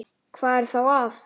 Hvað er það þá?